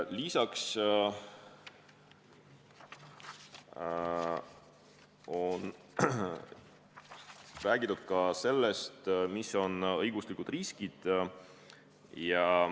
Lisaks räägiti sellest, mis on õiguslikud riskid.